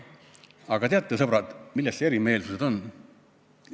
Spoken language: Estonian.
Aga teate, sõbrad, mis need erimeelsused olid?